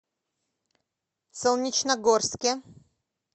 солнечногорске